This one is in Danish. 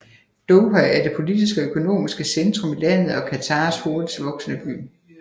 Doha er det politiske og økonomiske centrum i landet og Qatars hurtigst voksende by